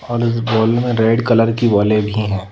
और इस बॉल में रेड कलर की बॉले भी हैं ।